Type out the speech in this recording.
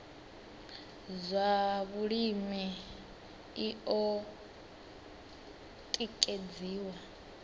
zwa vhulimi i o tikedziwa